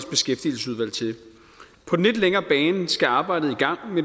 på den lidt længere bane skal arbejdet